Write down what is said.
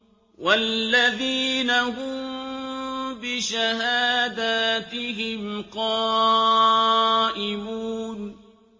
وَالَّذِينَ هُم بِشَهَادَاتِهِمْ قَائِمُونَ